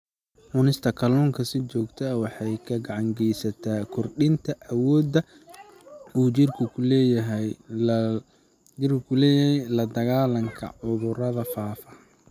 Cunista kalluunka si joogto ah waxay gacan ka geysataa kordhinta awoodda uu jidhku u leeyahay la-dagaallanka cudurrada faafa.